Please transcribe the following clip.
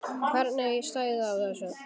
Hvernig stæði á þessu?